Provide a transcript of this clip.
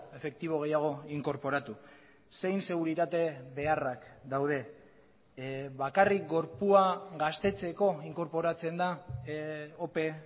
efektibo gehiago inkorporatu zein seguritate beharrak daude bakarrik gorpua gaztetzeko inkorporatzen da ope